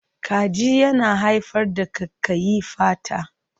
Kaji yana haifar da ƙaiƙayi fata.